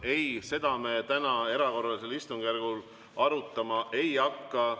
Ei, seda me täna erakorralisel istungjärgul arutama ei hakka.